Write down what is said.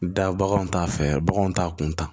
Da baganw t'a fɛ baganw t'a kun ta